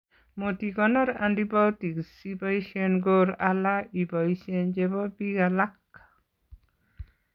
Motikonor antibiotics siboisien koor ala ibosien chebo biik alak